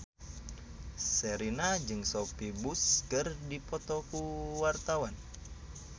Sherina jeung Sophia Bush keur dipoto ku wartawan